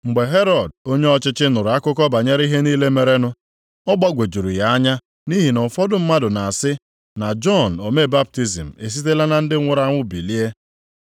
Mgbe Herọd onye ọchịchị nụrụ akụkọ banyere ihe niile merenụ, ọ gbagwojuru ya anya nʼihi na ụfọdụ mmadụ na-asị, na Jọn omee baptizim esitela na ndị nwụrụ anwụ bilie.